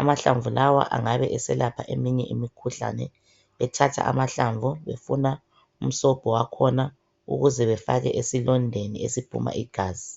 Amahlamvu lawa angabe eselapha eminye imikhuhlane, bethathe amahlamvu befuna umsobho wakhona ukuze befake esilondeni esiphuma igazi.